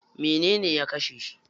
Menene ya kashe shi?